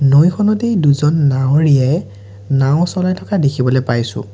নৈখনতেই দুজন নাৱৰীয়াই নাও চলাই থকা দেখিবলৈ পাইছোঁ।